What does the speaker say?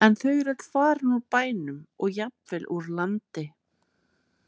En þau eru öll farin úr bænum og jafnvel úr landi.